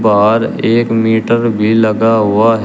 और एक मीटर भी लगा हुआ है।